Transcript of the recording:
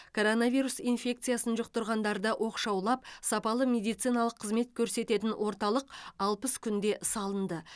коронавирус инфекциясын жұқтырғандарды оқшаулап сапалы медициналық қызмет көрсететін орталық алпыс күнде салынды